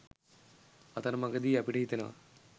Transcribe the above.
අතරමගදී අපිට හිතෙනවා